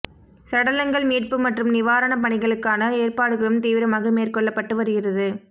சடலங்கள் மீட்பு மற்றும் நிவாரணப் பணிகளுக்கான ஏற்பாடுகளும் தீவிரமாக மேற்கொள்ளப்பட்டு வருகிறது